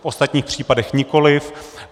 V ostatních případech nikoliv.